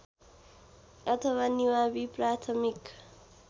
अथवा निमावि प्राथमिक